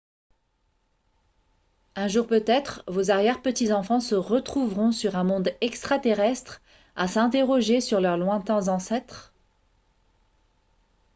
un jour peut-être vos arrière-petits-enfants se retrouveront sur un monde extra-terrestre à s'interroger sur leurs lointains ancêtres